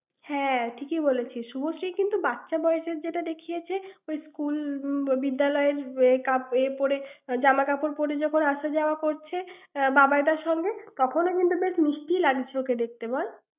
হ্যাঁ, ঠিকই বলছিস। শুভশ্রী কিন্তু বাচ্চা বয়সের যেটা দেখিয়েছে, ওই স্কুল~ বিদ্যালয়ের এ পরে, জামাকাপড় পরে যখন আসা যাওয়া করছে বাবাইদার সঙ্গে, তখনও কিন্তু বেশ মিষ্টিই লাগছে ওকে দেখতে বল?